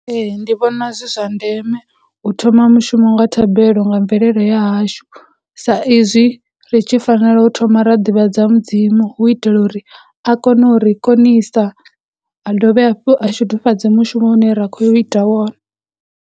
Ee, ndi vhona zwi zwa ndeme u thoma mushumo nga thabelo nga mvelele ya hashu, sa izwi ri tshi fanela u thoma ra ḓivhadza mudzimu hu u itela uri a kone u ri konisa a dovhe hafhu a shudufhadze mushumo une ra kho yo ita wone.